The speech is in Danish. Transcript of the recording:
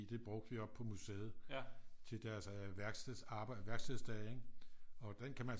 Det brugte vi oppe på museet til deres værkstedsdage ikke og den kan man